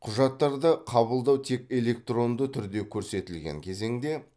құжаттарды қабылдау тек электронды түрде көрсетілген кезеңде